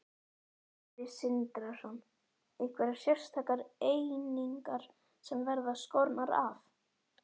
Sindri Sindrason: Einhverjar sérstakar einingar sem verða skornar af?